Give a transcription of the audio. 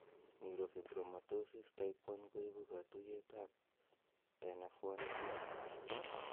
Neurofibromatosis type 1 is ko ipu katuiyet ap nf1 gene.